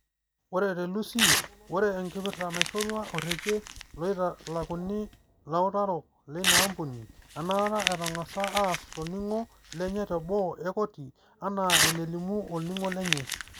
ore te Lusi. ore enkipirta naishoorua orekia loitalakuni lautarok leina ampuni enaata etangasaki aas tolning'o lenye te boo e koti enaa enelimu olning'o lenye.